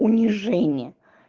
унижение